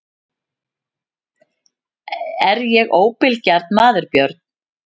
Er ég óbilgjarn maður Björn?